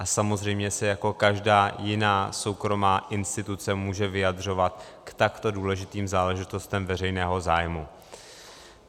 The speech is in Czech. A samozřejmě se jako každá jiná soukromá instituce může vyjadřovat k takto důležitým záležitostem veřejného zájmu.